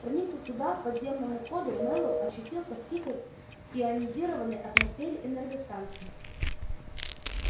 проникнув туда к подземному ходу мэллоу очутился в тихой ионизированной атмосфере энергостанции